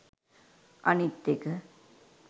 අනිත් එක